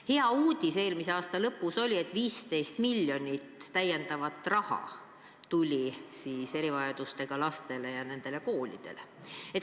Hea uudis eelmise aasta lõpus oli, et 15 miljonit täiendavat raha tuli erivajadustega lastele ja nendele koolidele.